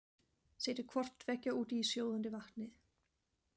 Setjið hvort tveggja út í sjóðandi vatnið.